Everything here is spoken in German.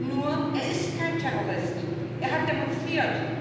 Nur, er ist kein Terrorist er hat demonstriert.